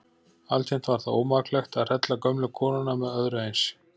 Altént var það ómaklegt að hrella gömlu konuna með öðru eins.